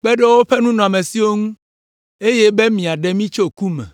kpe ɖe woƒe nunɔamesiwo ŋu, eye be míaɖe mí tso ku me.”